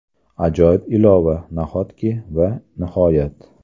Ajoyib ilova, nahotki va nihoyat.